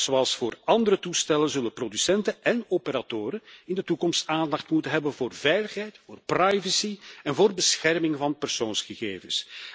Net zoals voor andere toestellen zullen producenten en operatoren in de toekomst aandacht moeten hebben voor veiligheid, privacy en bescherming van persoonsgegevens.